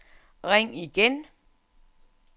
ring igen